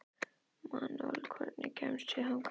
Manuel, hvernig kemst ég þangað?